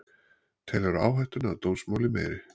Telur áhættuna af dómsmáli meiri